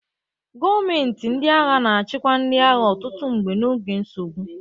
Gọọmenti ndị agha na-achịkwa ndị agha, ọtụtụ mgbe n'oge nsogbu.